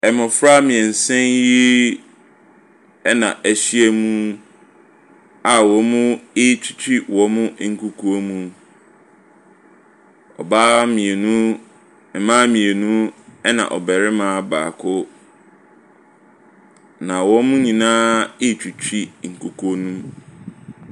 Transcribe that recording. Mmɔfra mmiɛnsa yi ɛna ɛhyia mu a wɔretwitwi wɔn nkukuo mu. Ɔbaa mmienu, mmaa mmienu ɛna ɔbarima baako. Na wɔn nyinaa ɛretwitwi nkukuo no mu.